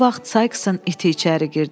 Elə bu vaxt Sayksın iti içəri girdi.